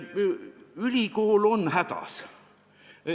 Ülikool on hädas.